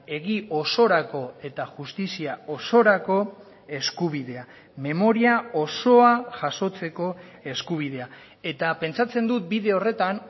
egi osorako eta justizia osorako eskubidea memoria osoa jasotzeko eskubidea eta pentsatzen dut bide horretan